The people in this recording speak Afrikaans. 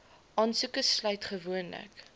aansoeke sluit gewoonlik